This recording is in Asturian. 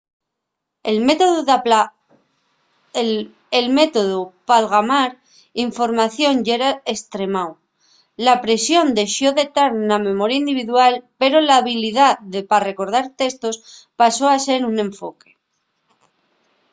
el métodu p'algamar información yera estremáu la presión dexó de tar na memoria individual pero la habilidá pa recordar testos pasó a ser un enfoque